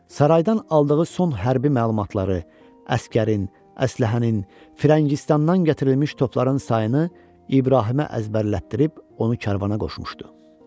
Saraydan aldığı son hərbi məlumatları, əsgərin, əsləhənin, firəngistandan gətirilmiş topların sayını İbrahimə əzbərlətdirib onu karvana qoşmuşdu.